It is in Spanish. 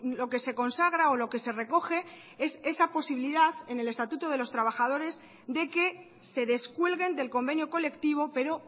lo que se consagra o lo que se recoge es esa posibilidad en el estatuto de los trabajadores de que se descuelguen del convenio colectivo pero